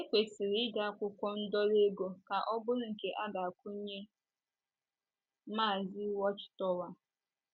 É kwesịrị ide akwụkwọ ndọrọ ego ka ọ bụrụ nke a ga - akwụnye “ Mazi Watch Tower. ”